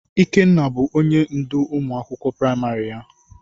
Ikenna bụ ónyé ndụ ụmụ akwụkwọ praịmarị ya.